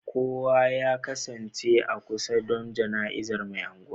Kowa ya kasance a kusa don jana'izar Mai Anguwan